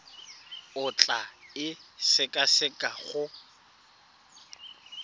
o tla e sekaseka go